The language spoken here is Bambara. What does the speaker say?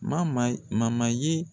N man maa ye ye